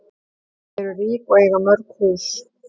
Þau eru rík og eiga mörg hús.